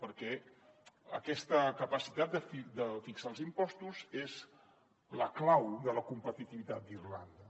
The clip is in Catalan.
perquè aquesta capacitat de fixar els impostos és la clau de la competitivitat d’irlanda